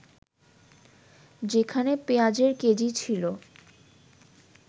যেখানে পেঁয়াজের কেজি ছিল